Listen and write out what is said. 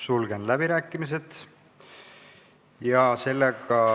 Sulgen läbirääkimised.